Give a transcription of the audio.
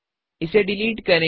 इसे डिलिट करें